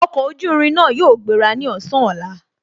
Ọkọ̀ ojú irin náà yóò gbéra ní ọ̀sán ọ̀la